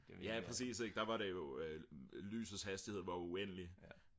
ja præcis ik der var det jo lysets hastighed var uendelig